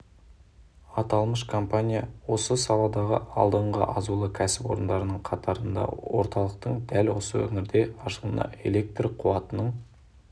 аталмыш компания осы саладағы алдыңғы азулы кәсіпорындарының қатарында орталықтың дәл осы өңірде ашылуына элект қуатының